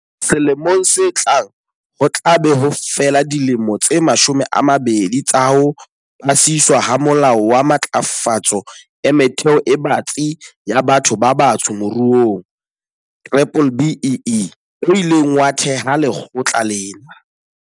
Selemong se tlang, ho tla be ho fela dilemo tse mashome a mabedi tsa ho pasiswa ha Molao wa Matlafatso e Metheo e Batsi ya Batho ba Batsho Moruong, B-BBEE - o ileng wa theha lekgotla lena.